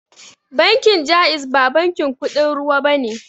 Bankin jaiz ba bankin kuɗin ruwa bane